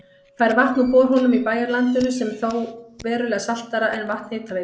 Fær vatn úr borholum í bæjarlandinu sem er þó verulega saltara en vatn Hitaveitu